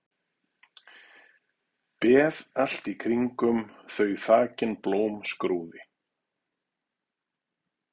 Beð allt í kringum þau þakin blómskrúði.